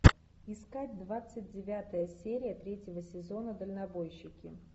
искать двадцать девятая серия третьего сезона дальнобойщики